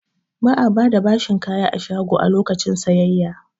Ba'a bada bashin kaya a shago a lokacin sayayya